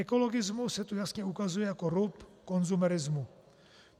Ekologismus se tu jasně ukazuje jako rub konzumerismu.